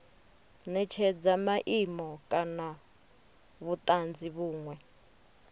netshedza maimo kana vhutanzi vhunwe